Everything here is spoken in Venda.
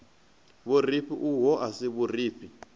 vhurifhi uho a si vhurifhi